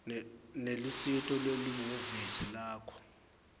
nelusito lwelihhovisi lakho